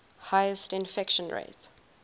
highest infection rate